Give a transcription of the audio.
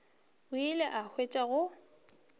o ile a hwetša go